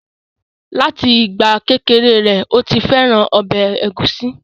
Láti ìgbà kékeré rẹ̀, ó ti fẹ́ràn ọbẹ̀ ẹ̀gúsí